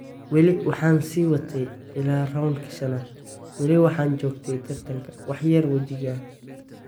"Weli waxaan sii watay ilaa raundka shanaad, wali waxaan joogay tartankan, wax yar wajiiga."